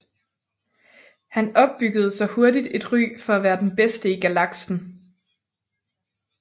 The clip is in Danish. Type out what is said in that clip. Han opbyggede sig hurtigt et ry for at være den bedste i Galaksen